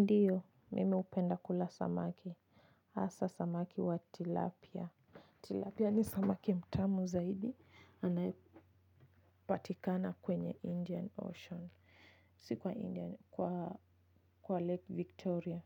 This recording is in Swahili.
Ndio, nimependa kula samaki. Asa samaki wa Tilapia. Tilapia ni samaki mtamu zaidi. Anaepatikana kwenye Indian Ocean. Si kwa Lake Victoria.